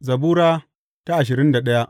Zabura Sura ashirin da daya